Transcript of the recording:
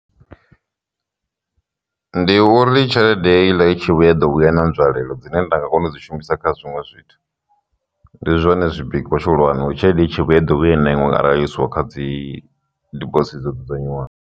Ndi uri tshelede heiḽa i tshi vhuya i ḓo vhuya na nzwalelo dzine nda nga kona u dzi shumisa kha zwiṅwe zwithu, ndi zwone zwipikwa tshi hulwane uri tshelede i tshi vhuya i ḓo vhuya i na inwe arali yo isiwa kha dzi dibosithi dzo dzudznyiwaho.